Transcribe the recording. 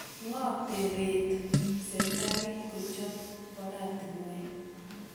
ngo taret serikalit kochop oratinwek